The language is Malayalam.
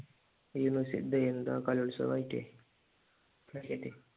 യൂണിവേഴ്സിറ്റിയിൽ ഇതെന്താ കലോത്സവം ആയിട്ടെ